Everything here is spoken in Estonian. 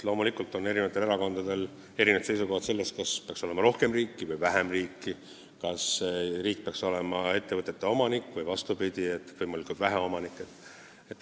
Loomulikult on eri erakondadel erinevad seisukohad selle kohta, kas peaks olema rohkem või vähem riiki, kas riik peaks olema ettevõtete omanik või peaks, vastupidi, võimalikult vähe omanik olema.